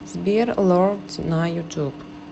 сбер лорд на ютуб